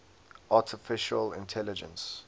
artificial intelligence